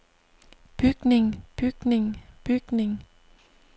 bygning bygning bygning